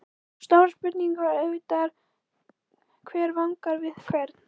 Stóra spurningin var auðvitað: Hver vangar við hvern?